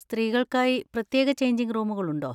സ്ത്രീകൾക്കായി പ്രത്യേക ചെയ്ഞ്ചിങ് റൂമുകൾ ഉണ്ടോ?